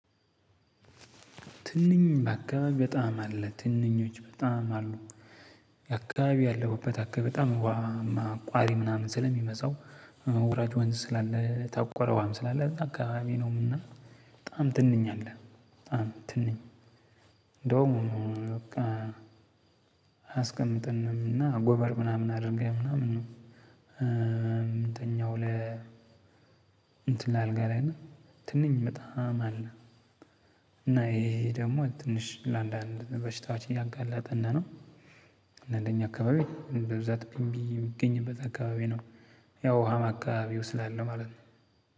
ትንኝ በአካባቢ በጣም አለ ትንኞች በጣም አሉ። የአካባቢ ያለሁበት አካባቢ በጣም ውሃማ አቋሪ ምናምን ስለሚበዛው ወራጅ ወንዝ ስላለ የታቆረ ውሃም ስላለ እዛ አካባቢ ነው እና በጣም ትንኝ አለ በጣም ትንኝ እንደውም በቃ አያስቀምጠንም እና ጎበር ምናምን አድርገን ምናምን ነው ምንተኛው ለ እንትን ላይ አልጋ ላይ እና ትንኝ በጣም አለ። እና ይሄ ደግሞ ትንሽ ለአንዳንድ በሽታዎች እያጋላጠን ነው። እና እንደኛ አካባቢ በብዛት ቢንቢ የሚገኝበት አካባቢ ነው። ያው ውሃም አካባቢው ስላለ ማለት ነው።